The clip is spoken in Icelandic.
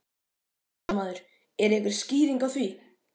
Fréttamaður: Er einhver skýring á því?